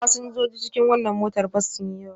Fasinjojin cikin wannan motar bas sun yi yawa.